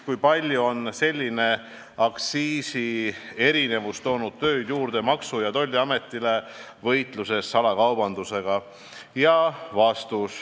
Kui palju on selline aktsiisierinevus toonud tööd juurde Maksu- ja Tolliametile võitluses .. salakaubandusega?